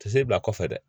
Te se bila kɔfɛ dɛ